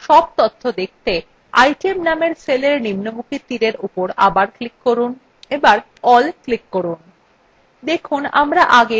cell তথ্য দেখতে item named cellin নিম্নমুখী তীরin উপর আবার click করুন এবার all click করুন